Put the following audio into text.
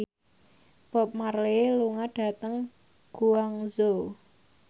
Bob Marley lunga dhateng Guangzhou